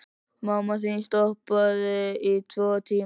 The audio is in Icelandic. Mamma þín stoppaði í tvo tíma.